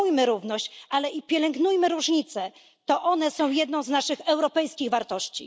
Promujmy równość. Ale i pielęgnujemy różnice. To one są jedną z naszych europejskich wartości.